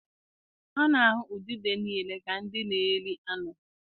A na-ahụ udide niile ka ndị na-eri anụ.